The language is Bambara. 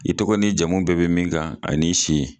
I tɔgɔ ni jamu bɛɛ bɛ min kan ani'i si.